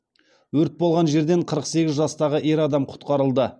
өрт болған жерден қырық сегіз жастағы ер адам құтқарылды